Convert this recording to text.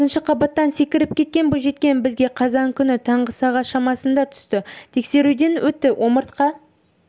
екінші қабаттан секіріп кеткен бойжеткен бізге қазан күні таңғы сағат шамасында түсті тексеруден өтті омыртқа